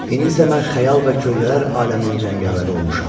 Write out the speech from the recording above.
İndi isə mən xəyal və kölgələr aləminin cəngavəri olmuşam.